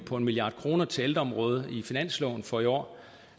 på en milliard kroner til ældreområdet i finansloven for i år